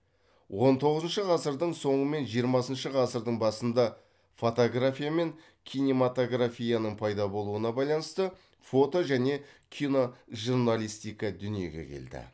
он тоғызыншы ғасырдың соңы мен жиырмасыншы ғасырдың басында фотография мен кинематографияның пайда болуына байланысты фото және киножурналистика дүниеге келді